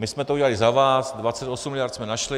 My jsme to udělali za vás, 28 miliard jsme našli.